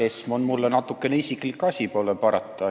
ESM on mulle natuke isiklik asi – pole parata.